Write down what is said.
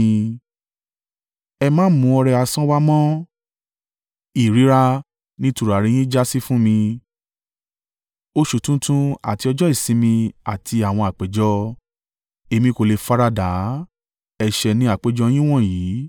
Ẹ má mú ọrẹ asán wá mọ́! Ìríra ni tùràrí yín jásí fún mi, oṣù tuntun àti ọjọ́ ìsinmi àti àwọn àpéjọ, Èmi kò lè faradà á, ẹ̀ṣẹ̀ ni àpéjọ yín wọ̀nyí.